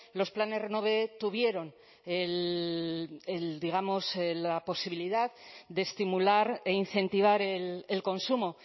los planes renove tuvieron digamos la posibilidad de estimular e incentivar el consumo